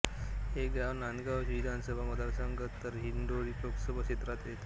हे गाव नांदगाव विधानसभा मतदारसंघ तर दिंडोरी लोकसभा क्षेत्रात येते